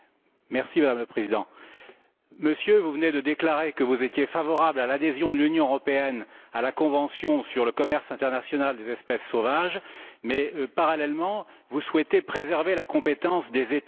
Madame la Présidente, Monsieur, vous venez de déclarer que vous étiez favorable à l'adhésion de l'Union européenne à la convention sur le commerce international des espèces sauvages mais, parallèlement, vous souhaitez préserver la compétence des États.